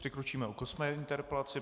Přikročíme k osmé interpelaci.